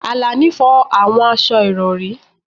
Alani fọ àwọn aṣọ ìrọ̀rí